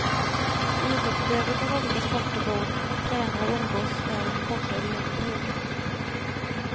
Idrottsutövare från olika sporter bor, tränar och umgås där under kortare eller längre perioder.